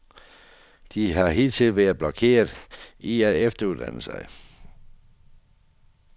De har hidtil været blokeret i at efteruddanne sig.